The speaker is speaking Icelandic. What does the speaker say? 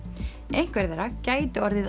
einhver þeirra gætu orðið